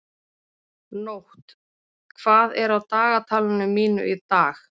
Nótt, hvað er á dagatalinu mínu í dag?